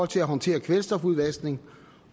til at håndtere kvælstofudvaskningen